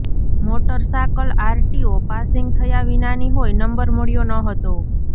motor cycle RTO passing થયા વિનાની હોય નંબર મળ્યો ન હતો